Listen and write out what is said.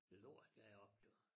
Lort deroppe jo